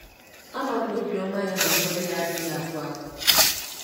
Ama m na obiọma ya na ngọzi ya adịghị agwụ agwụ. ”